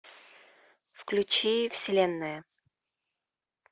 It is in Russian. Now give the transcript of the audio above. включи вселенная